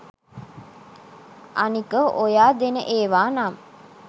අනික ඔයා දෙන ඒවා නම්